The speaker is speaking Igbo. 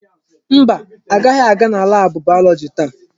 Mba, agaghị aga na laabụ bayọlọji taa.